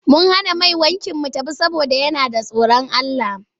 Mun hana mai wankin mu tafiya saboda yana da tsorin Allah.